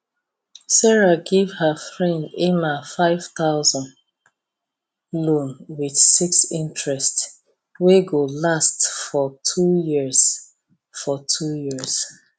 sarah give her friend emma 5000 loan with 6 interest wey go last for two years for two years